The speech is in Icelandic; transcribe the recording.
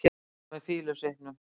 Dóra með fýlusvipnum.